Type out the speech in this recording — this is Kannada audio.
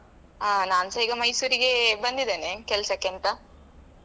ಆ ನಾನು ಸಹ ಮೈಸೂರಿಗೆ ಬಂದಿದ್ದೇನೆ ಕೆಲಸಕ್ಕೆ ಅಂತ.